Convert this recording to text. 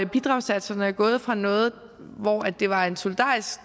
bidragssatserne er gået fra noget hvor det var en solidarisk